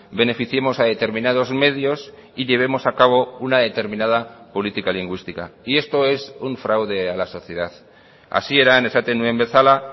beneficiemos a determinados medios y llevemos a cabo una determinada política lingüística y esto es un fraude a la sociedad hasieran esaten nuen bezala